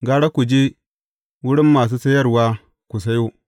Gara ku je wurin masu sayarwa ku sayo.’